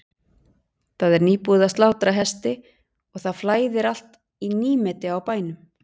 Það er nýbúið að slátra hesti og það flæðir allt í nýmeti á bænum.